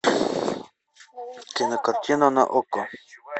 кинокартина на окко